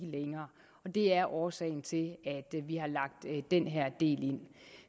længere det er årsagen til at vi har lagt den her del ind